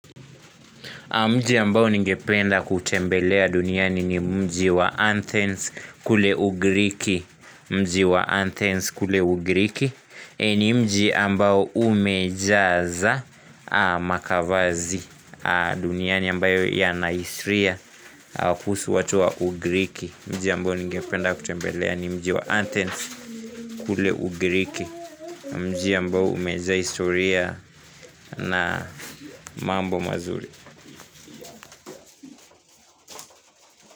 Mji ambao ningependa kutembelea duniani ni mji wa Anthens kule Ugriki, ni mji ambao umejaza Makavazi, duniani ambayo ya Nahistoria, kuhusu watu wa Ugriki. Mji ambao ningependa kutembelea ni mji wa Anthens kule Ugriki, mji ambao umejaza historia na mambo mazuri.